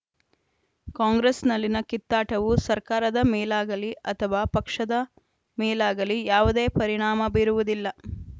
ಕಾಂಗ್ರೆಸ್‌ನಲ್ಲಿನ ಕಿತ್ತಾಟವು ಸರ್ಕಾರದ ಮೇಲಾಗಲಿ ಅಥವಾ ಪಕ್ಷದ ಮೇಲಾಗಲಿ ಯಾವುದೇ ಪರಿಣಾಮ ಬೀರುವುದಿಲ್ಲ